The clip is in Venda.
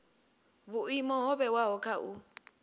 vhuimo ho vhewaho kha u